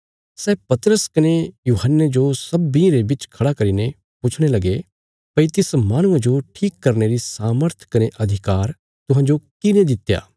सै पतरस कने यूहन्ने जो सब्बीं रे बिच खड़ा करीने पुछणे लगे भई तिस माहणुये जो ठीक करने री सामर्थ कने अधिकार तुहांजो किने दित्या